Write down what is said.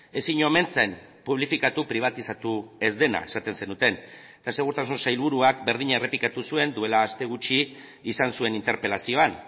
ezin omen zen publifikatu pribatizatu ez dena esaten zenuten eta segurtasun sailburuak berdina errepikatu zuen duela aste gutxi izan zuen interpelazioan